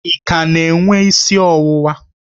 Ị ka na-enwe isi ọwụwa?